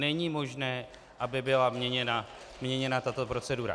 Není možné, aby byla měněna tato procedura.